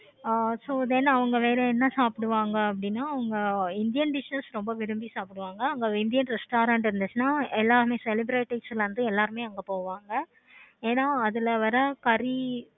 ஆஹ் so then அவங்க வேற என்ன சாப்பிடுவாங்க அப்படின்னா indian restaurant இருந்துச்சுன்னா ரொம்ப விரும்பி சாப்பிடுவாங்க restaurant இருந்துச்சுன்னா எல்லாருமே celebritites வந்து எல்லாருமே அங்க போவாங்க. ஏன அதுல வர கரி